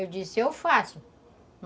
Eu disse, eu faço.